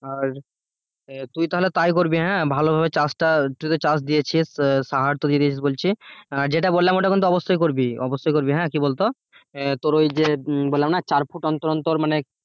আর তুই তাহলে তাই করবি হ্যাঁ? ভালভাবে চাষটা তুইতো চাষ দিয়েছিস যেটা বললাম ওটা কিন্তু অবশ্যই করবি অবশ্যই করবি হ্যাঁ কি বলতো তোর ওই যে বললাম না চার ফুট অন্তর অন্তর মানে